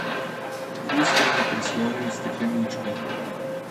K ustom ji prislonil stekleničko.